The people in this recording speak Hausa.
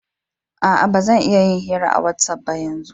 Aa, ba zan iya yin hira a watsapp ba yanzu.